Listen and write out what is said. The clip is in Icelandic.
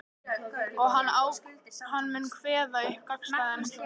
Og hann mun kveða upp gagnstæðan úrskurð.